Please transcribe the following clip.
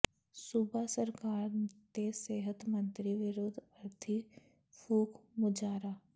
ਸੂਬਾ ਸਰਕਾਰ ਤੇ ਸਿਹਤ ਮੰਤਰੀ ਵਿਰੁੱਧ ਅਰਥੀ ਫੂਕ ਮੁਜ਼ਾਹਰਾ